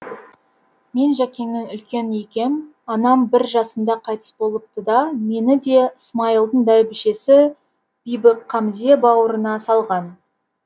мен жәкеннің үлкені екем анам бір жасымда қайтыс болыпты да мені де смайылдың бәйбішесі бибіқамзе бауырына салған